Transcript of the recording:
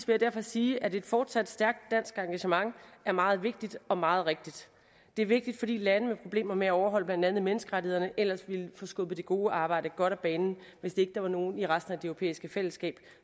jeg derfor sige at et fortsat stærkt dansk engagement er meget vigtigt og meget rigtigt det er vigtigt fordi lande med problemer med at overholde blandt andet menneskerettighederne ellers ville få skubbet det gode arbejde godt af banen hvis ikke der var nogle i resten af det europæiske fællesskab